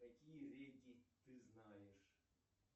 какие реки ты знаешь